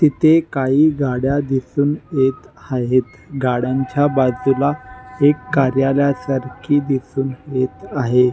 तिथे काही गाड्या दिसून येत आहेत गाड्यांच्या बाजूला एक कार्यालय सारखी दिसून येत आहे.